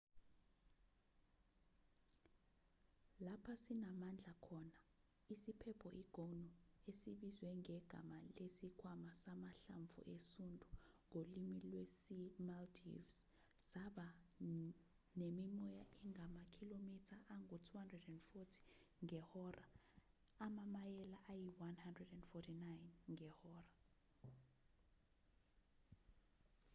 lapho sinamandla khona isiphepho i-gonu esibizwe ngegama lesikhwama samahlamvu esundu ngolimi lwesi-maldives saba nemimoya engamakhilomitha angu-240 ngehora amamayela ayi-149 ngehora